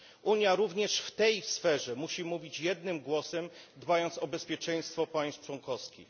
Unia również w tej sferze musi mówić jednym głosem, dbając o bezpieczeństwo państw członkowskich.